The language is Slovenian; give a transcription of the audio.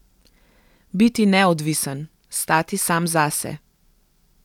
Biti neodvisen, stati sam zase.